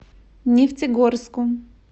нефтегорску